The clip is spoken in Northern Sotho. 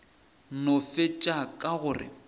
no fetša ka go re